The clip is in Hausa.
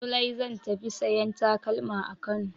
Zulai zan ta tafi sayan takalma a Kano.